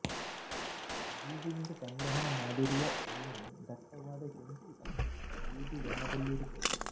ಬೀಜದಿಂದ ಸಂಗ್ರಹಣೆ ಮಾಡಿರುವ ಎಣ್ಣೆ ದಟ್ಟವಾದ ಕೆಂಪು ಅಥವಾ ಬೂದು ಬಣ್ಣದಲ್ಲಿರುತ್ತದೆ